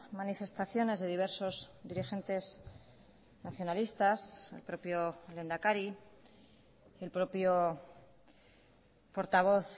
manifestaciones de diversos dirigentes nacionalistas el propio lehendakari el propio portavoz